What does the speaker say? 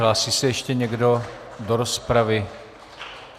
Hlásí se ještě někdo do rozpravy?